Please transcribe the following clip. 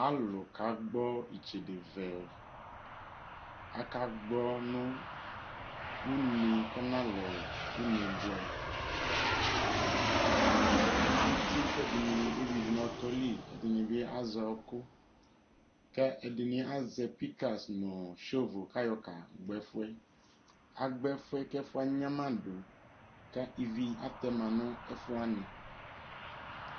Ɔlʋlʋ kagbɔ itsede vɛ, akagbɔ nʋ une bua kɔnalɛ unebuɛ Atani agbɔ uti k'ɛdini eyui du nʋ ɔtɔli k'ɛdinibi az'ɔkʋ, k'ɛdinibi azɛ pikas nʋ shovels kayɔ kagbɔ ɛfuɛ Agbɔ ɛfuɛ k'ɛƒuɛ agnamadʋ ka ivi atɛma nʋ ɛfuwani